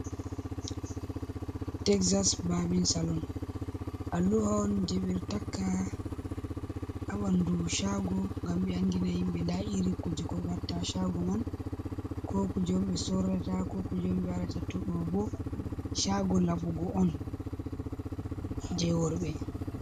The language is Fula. Texas babin salon, a luha on je ɓe ɗo taka ha ɓanɗu chago ngam ɓe andina himɓɓe nda iri kuje ko ɓe watta ha shago man, ko kuje on ɓe sorrata, ko kuje on ɓe waɗata, to ɗo bo chago laɓugo on je worɓɓe.